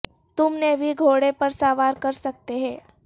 تم نے بھی گھوڑے پر سوار کر سکتے ہیں